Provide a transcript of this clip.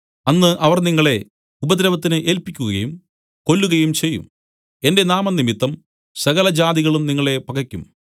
അന്ന് അവർ നിങ്ങളെ ഉപദ്രവത്തിന് ഏല്പിക്കുകയും കൊല്ലുകയും ചെയ്യും എന്റെ നാമംനിമിത്തം സകലജാതികളും നിങ്ങളെ പകയ്ക്കും